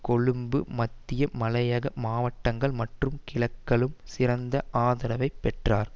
கொழும்பு மத்திய மலையக மாவட்டங்கள் மற்றும் கிழக்கலும் சிறந்த ஆதரவை பெற்றார்